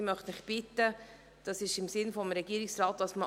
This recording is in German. Ich möchte Sie bitten, auch jetzt ein Postulat abzulehnen.